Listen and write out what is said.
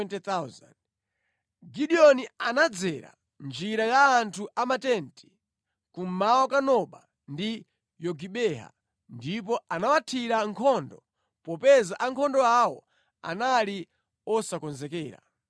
Gideoni anadzera njira ya anthu a matenti kummawa kwa Noba ndi Yogibeha ndipo anawathira nkhondo popeza ankhondo awo anali osakonzekera.